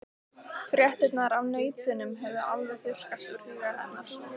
Fréttirnar af nautunum höfðu alveg þurrkast úr huga hennar.